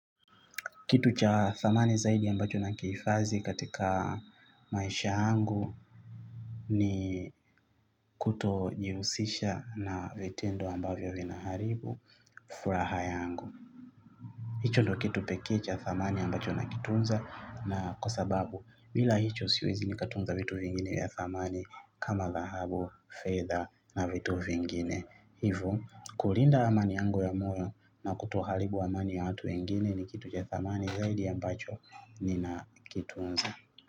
Kitu cha thamani zaidi ambacho na kiifadhi katika maisha angu ni kutojiusisha na vitendo ambavyo vinaharibu furaha yangu. Hicho ndo kitu peke cha thamani ambacho nakitunza na kwa sababu bila hicho siwezi nikatunza vitu vingine ya thamani kama dahabu, fedha na vitu vingine. Hivo. Kulinda amani yangu ya moyo na kutohalibu amani ya watu wengine ni kitu ch thamani zaidi yambacho nina kitunza.